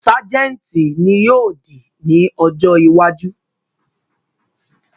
Sajenti ni yóò di ni ọ̀jọ iwájú